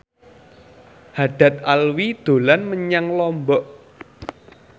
Haddad Alwi dolan menyang Lombok